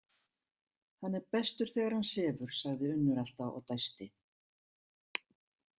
Hann er bestur þegar hann sefur, sagði Unnur alltaf og dæsti.